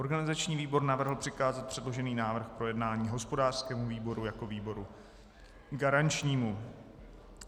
Organizační výbor navrhl přikázat předložený návrh k projednání hospodářskému výboru jako výboru garančnímu.